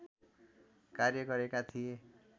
कार्य गरेका थिए